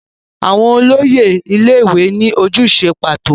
Àwọn olóyè ilé-ìwé ní ojúṣe pàtó.